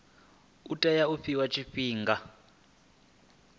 u tea u fhiwa tshifhinga